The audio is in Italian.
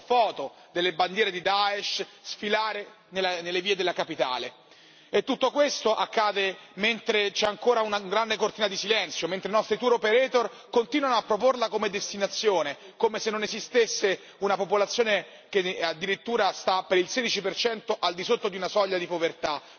Abbiamo visto foto delle bandiere di Daesh sfilare nelle vie della capitale e tutto questo accade mentre c'è ancora una grande cortina di silenzio, mentre i nostri tour operator continuano a proporla come destinazione, come se non esistesse una popolazione che addirittura sta per il 16 per cento al di sotto della soglia di povertà